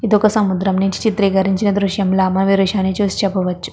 ఇదొక సముద్రం నించి చిత్రీకరించిన దృశ్యం లా మనం ఈ దృశ్యాన్ని చూసి చెప్పవచ్చు.